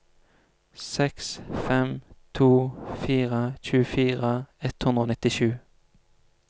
seks fem to fire tjuefire ett hundre og nittisju